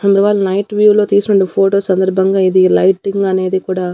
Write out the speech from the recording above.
అందువల్ల night view లో తీసుండే ఫోటో సందర్భంగా ఇది లైటింగ్ అనేది కూడా--